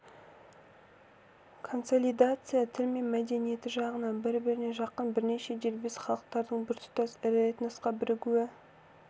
консолидация тіл мен мәдениеті жағынан бір-біріне жақын бірнеше дербес халықтардың біртұтас ірі этносқа бірігуі